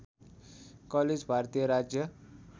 college भारतीय राज्य